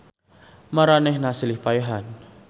Maranehanana silih paehan.